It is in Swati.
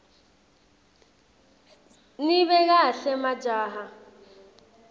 nibe kahle majaha